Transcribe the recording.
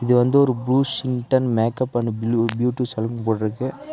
இது வந்து ஒரு ப்ளூசிங்டன் makeup and blue beauty salon போட்ருக்கு.